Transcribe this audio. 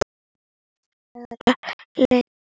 Þetta verður að fara leynt!